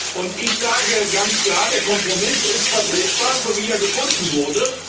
Und ich sage ganz klar Der Kompromiss ist vertretbar, so wie er gefunden wurde.